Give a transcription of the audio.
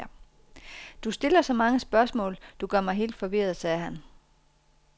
Du stiller så mange spørgsmål, du gør mig helt forvirret, sagde han.